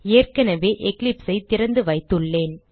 ஏற்கனவே Eclipse ஐ திறந்துவைத்துள்ளேன்